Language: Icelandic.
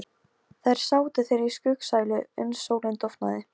Sölvi, stilltu tímamælinn á tuttugu og tvær mínútur.